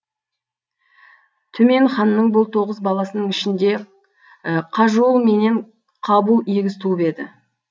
түмен ханның бұл тоғыз баласының ішінде қажул менен қабул егіз туып еді